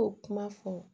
O kuma fɔ